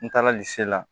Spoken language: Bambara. N taara lise la